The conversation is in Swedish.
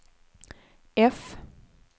F